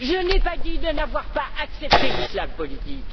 Je n'ai pas dit de n'avoir pas accepté l'islam politique!